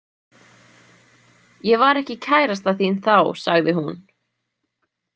Ég var ekki kærasta þín þá, sagði hún.